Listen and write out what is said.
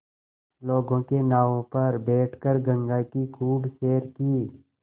लोगों के नावों पर बैठ कर गंगा की खूब सैर की